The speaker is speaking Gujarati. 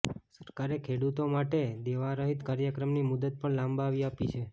સરકારે ખેડૂતો માટે દેવા રાહત કાર્યક્રમની મુદત પણ લંબાવી આપી છે